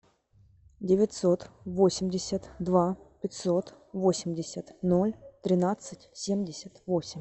девятьсот восемьдесят два пятьсот восемьдесят ноль тринадцать семьдесят восемь